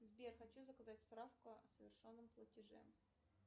сбер хочу заказать справку о совершенном платеже